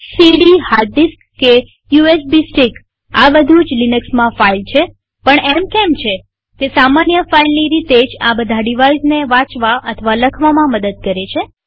CD hard disk કે USB stick આ બધું જ લિનક્સમાં ફાઈલ છેપણ એમ કેમ છેતે સામાન્ય ફાઈલની રીતે જ આ બધા ડિવાઇઝને વાચવા અને લખવામાં મદદ કરે છે